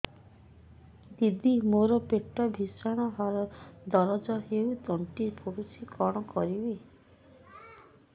ଦିଦି ମୋର ପେଟ ଭୀଷଣ ଦରଜ ହୋଇ ତଣ୍ଟି ପୋଡୁଛି କଣ କରିବି